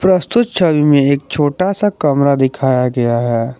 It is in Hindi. प्रस्तुत छवि में एक छोटा सा कमरा दिखाया गया है।